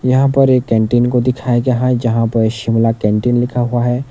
यहां पर एक कैंटीन को दिखाया है जहां पर शिमला कैंटीन लिखा हुआ है।